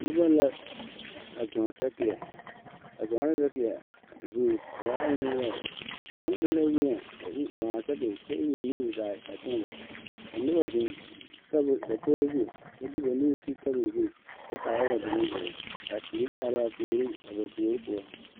Noba la a zɔŋ sakeɛ ba zɔŋɛɛ sakeɛ a zuŋ ba waaɛ nenyaga kaŋ de la weɛ a iri zɔŋ a Sakere kyɛ iri o nuuri zaa a teɛ bare ka noba zeŋ tabol dakogro zu kyɛ de ba nuuri ti tabol zu kyɛ kaara ba ba naŋ zoro ka teere are a puoriŋ a ba puori poɔ.